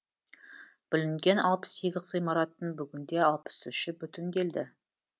бүлінген алпыс сегіз ғимараттың бүгінде алпыс үші бүтінделді